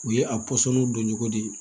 U ye a pɔsɔniw don cogo di